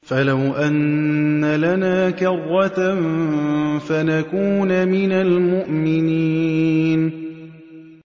فَلَوْ أَنَّ لَنَا كَرَّةً فَنَكُونَ مِنَ الْمُؤْمِنِينَ